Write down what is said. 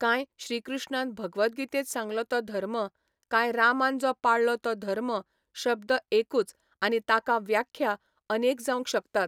कांय श्री कृष्णान भगवत गितेंत सांगलो तो धर्म, कांय रामान जो पाळ्ळो तो धर्म शब्द एकूच आनी ताका व्याख्या अनेक जावंक शकतात.